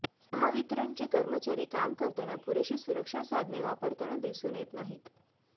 महावितरणचे कर्मचारी काम करताना पुरेशी सुरक्षा साधने वापरताना दिसून येत नाहीत